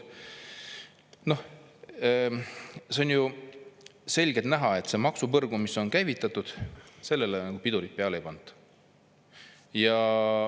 Noh, see on ju selgelt näha, et sellele maksupõrgule, mis on käivitatud, pidurit peale ei panda.